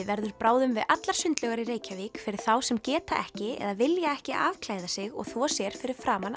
verður bráðum við allar sundlaugar í Reykjavík fyrir þá sem geta ekki eða vilja ekki afklæða sig og þvo sér fyrir framan